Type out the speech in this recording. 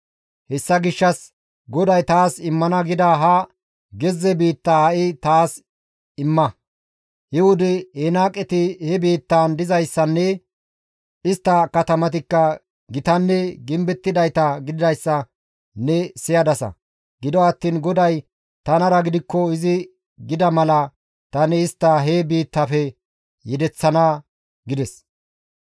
Hessa gishshas GODAY taas immana gida ha gezze biittaa ha7i taas imma. He wode Enaaqeti he biittaan dizayssanne istta katamatikka gitanne gimbettidayta gididayssa ne siyadasa; gido attiin GODAY tanara gidikko izi gida mala tani istta he biittafe yedeththana» gides.